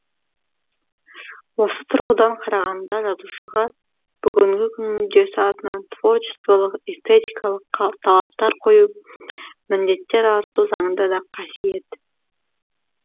осы тұрғыдан қарағанда жазушыға бүгінгі күн мүддесі атынан творчестволық эстетикалық талаптар қойып міндеттер арту заңды да қасиет